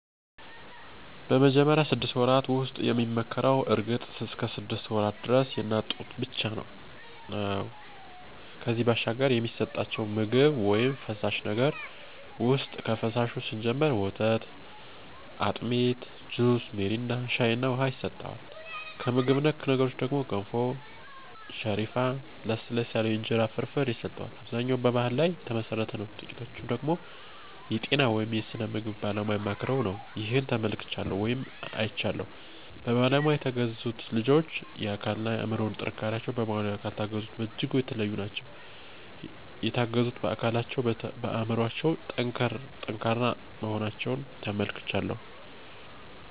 በመጀመሪያው ስድስት ወራት ውስጥ የሚመከረው እርግጥ እስከ ሰድስት ወራት ደረስ የእናት ጡት ብቻ ነው ነበር ከዚያ ባሻገር የሚሰጠቸው ምግብ ውይም ፈሳሽ ነገር ውሰጥ ከፈሳሹ ስንጀምር ወተት፣ አጢሚት፣ ጁስ ሚሪንዳ፣ ሻይ እና ውሃ ይሰጠዋል። ከምግብ ነክ ነገር ደግሞ ገንፎ፣ ሰሪፍ፣ ለስለስ ያሉ የእንጀራ ፍርፍር ይሰጠዋል። አብዛኛው በባሕል ላይ ተመሠረተ ነው ጥቂቶቹ ደገሞ የጤና ወይም የስነ ምግብ ባለሙያ አማክረው ነው። ይህን ተመልክቻለሁ ወይም አይቻለሁም። በባለሙያ የተገዙት ልጆች የአካል እና የአምሮ ጥንካሪቸው በባለሙያ ካልታገዙት በጅጉ የተለዩ ናቸው። የተገዙት በአካለቸውም በአምሮቸው የጠንከሩ መሆናቸውን ተመልክቻለሁ።